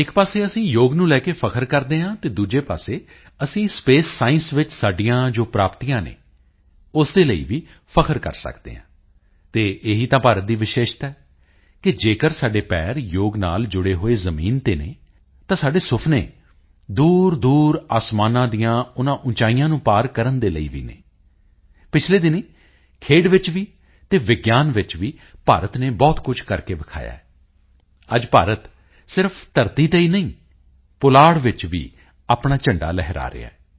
ਇੱਕ ਪਾਸੇ ਅਸੀਂ ਯੋਗ ਨੂੰ ਲੈ ਕੇ ਫ਼ਖਰ ਕਰਦੇ ਹਾਂ ਤਾਂ ਦੂਜੇ ਪਾਸੇ ਅਸੀਂ ਸਪੇਸ ਸਾਇੰਸ ਵਿੱਚ ਸਾਡੀਆਂ ਜੋ ਪ੍ਰਾਪਤੀਆਂ ਹਨ ਉਸ ਦੇ ਲਈ ਵੀ ਫ਼ਖਰ ਕਰ ਸਕਦੇ ਹਾਂ ਅਤੇ ਇਹੀ ਤਾਂ ਭਾਰਤ ਦੀ ਵਿਸ਼ੇਸ਼ਤਾ ਹੈ ਕਿ ਜੇਕਰ ਸਾਡੇ ਪੈਰ ਯੋਗ ਨਾਲ ਜੁੜੇ ਹੋਏ ਜ਼ਮੀਨ ਤੇ ਹਨ ਤਾਂ ਸਾਡੇ ਸੁਪਨੇ ਦੂਰਦੂਰ ਅਸਮਾਨਾਂ ਦੇ ਉਨ੍ਹਾਂ ਉਚਾਈਆਂ ਨੂੰ ਪਾਰ ਕਰਨ ਦੇ ਲਈ ਵੀ ਹਨ ਪਿਛਲੇ ਦਿਨੀਂ ਖੇਡ ਵਿੱਚ ਵੀ ਅਤੇ ਵਿਗਿਆਨ ਵਿੱਚ ਵੀ ਭਾਰਤ ਨੇ ਬਹੁਤ ਕੁਝ ਕਰਕੇ ਦਿਖਾਇਆ ਹੈ ਅੱਜ ਭਾਰਤ ਸਿਰਫ ਧਰਤੀ ਤੇ ਹੀ ਹੈ ਪੁਲਾੜ ਵਿੱਚ ਵੀ ਆਪਣਾ ਝੰਡਾ ਲਹਿਰਾ ਰਿਹਾ ਹੈ